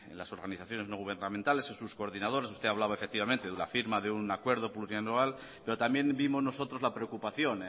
las organizaciones no gubernamentales en sus coordinadores usted hablaba efectivamente de la firma de un acuerdo plurianual pero también vimos nosotros la preocupación